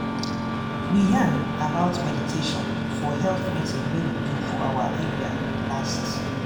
we yarn about meditation for health meeting wey we do for our area last.